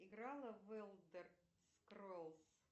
играла в элдер скроллс